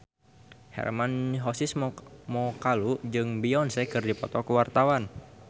Hermann Josis Mokalu jeung Beyonce keur dipoto ku wartawan